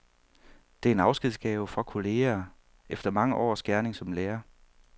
Det er en afskedsgave fra kollegaer efter mange års gerning som lærer.